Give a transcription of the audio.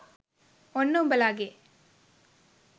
ඔන්න උඹලගෙ